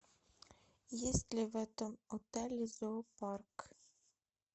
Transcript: есть ли в этом отеле зоопарк